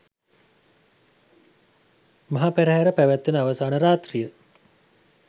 මහ පෙරහැර පැවැත්වෙන අවසාන රාත්‍රිය